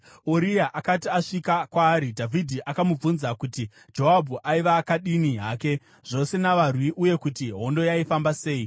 Uria akati asvika kwaari, Dhavhidhi akamubvunza kuti Joabhu aiva akadini hake, zvose navarwi uye kuti hondo yaifamba sei.